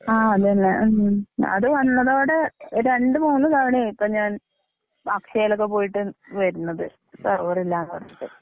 1 ആ അതന്നെ ഉം അത് വന്നതോടെ രണ്ടു മൂന്നു തവണയായിപ്പം ഞാൻ അക്ഷയിലൊക്കെ പോയിട്ട് വരുന്നതു സെർവറില്ലാന്നു പറഞ്ഞിട്ട്.